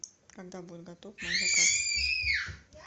когда будет готов мой заказ